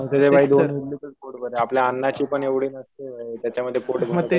अरे मग तशा भाई दोन इडली खाऊनच पोट भरेल. आपल्या अण्णाची पण एवढी नसते. त्याच्यामध्ये पोट भरेल.